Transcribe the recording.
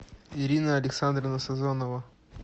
ирина александровна сазонова